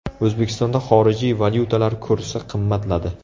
O‘zbekistonda xorijiy valyutalar kursi qimmatladi.